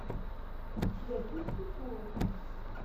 у тебя будет мифология